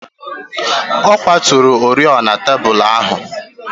Ọ kwaturu oriọna tebụl ahụ.